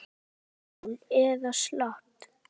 Stál í stál eða slappt?